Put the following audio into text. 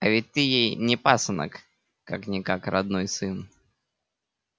а ведь ты ей не пасынок как-никак родной сын